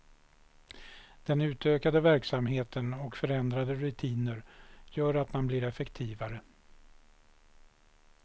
Den utökade verksamheten och förändrade rutiner gör att man blir effektivare.